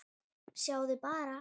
Sjáðu bara!